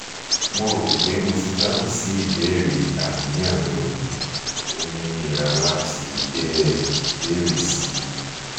mo ro pe mo ti dahun si ibeere aniyan reoni omi nira lati bee ibeere si